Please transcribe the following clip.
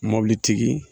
Mobilitigi